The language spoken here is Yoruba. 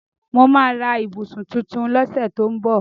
Mo máa ra ibusun tuntun ni ọ̀sẹ̀ tí ó ń bọ̀